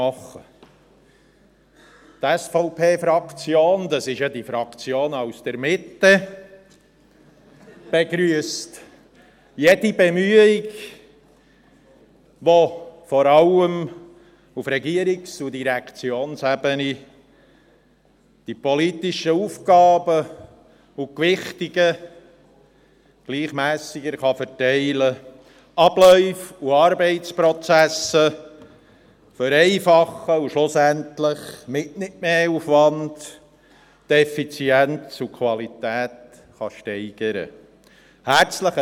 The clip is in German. Die SVP-Fraktion, dies ist ja die Fraktion aus der Mitte , begrüsst jede Bemühung, mit welcher vor allem auf Regierungs- und Direktionsebene die politischen Aufgaben und Gewichtungen gleichmässiger verteilt, Abläufe und Arbeitsprozesse vereinfacht und schlussendlich mit nicht mehr Aufwand Effizienz und Qualität gesteigert werden können.